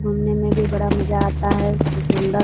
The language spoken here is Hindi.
घूमने मे भी बड़ा मजा आता है खूब सुंदर --